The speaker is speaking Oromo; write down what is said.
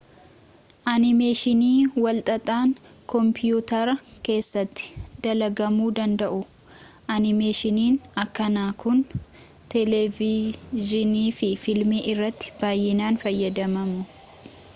animeeshinii walxaxaan koompiyuutara keessatti dalagamuu danda'u animeeshiinin akkanaa kun televidziinii fi filmii irrattii baay'inaan fayyadamamu